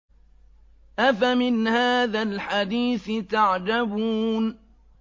أَفَمِنْ هَٰذَا الْحَدِيثِ تَعْجَبُونَ